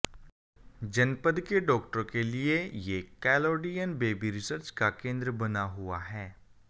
जनपद के डॉक्टरों के लिए ये कलोडीयन बेबी रिसर्च का केंद्र बना हुआ है